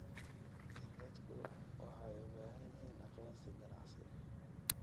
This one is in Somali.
Dadku waxay u baahan yihiin aqoonsi ganacsi ganacsi.